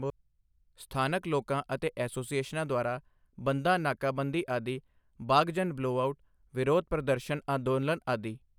ਸਥਾਨਕ ਲੋਕਾਂ ਅਤੇ ਐਸੋਸੀਏਸ਼ਨਾਂ ਦੁਆਰਾ ਬੰਧਾਂ ਨਾਕਾਬੰਦੀ ਆਦਿ ਬਾਘਜਨ ਬਲਓਆਊਟ, ਵਿਰੋਧ ਪ੍ਰਦਰਸ਼ਨ ਅੰਦੋਲਨ ਆਦਿ।